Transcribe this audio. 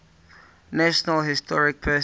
national historic persons